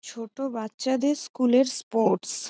ছোট বাচ্চাদের স্কুল এর স্পোর্টস ।